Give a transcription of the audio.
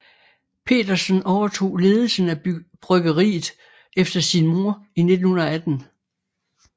Petersen overtog ledelsen af bryggeriet efter sin mor i 1918